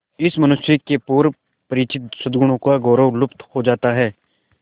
इस मनुष्य के पूर्व परिचित सदगुणों का गौरव लुप्त हो जाता है